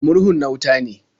Murhun na wuta ne.